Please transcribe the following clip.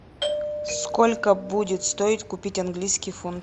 сколько будет стоить купить английский фунт